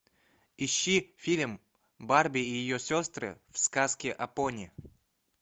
ищи фильм барби и ее сестры в сказке о пони